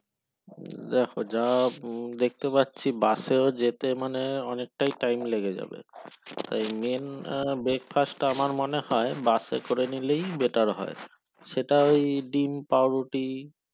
দেখো যা দেখতে পাচ্ছি উম বাস এ যেতে অনেকটাই time লেগে যাবে main তা আমার মনে হয় বাস এ করে নিলেই better হয় সেটা ওই ডিম্ পাউরুটি